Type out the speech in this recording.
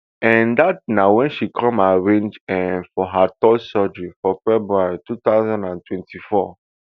um dat na wen she come arrange um for her third surgery for february two thousand and twenty-four